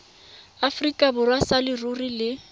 aforika borwa sa leruri le